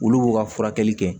Olu b'u ka furakɛli kɛ